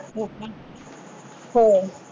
हो का हो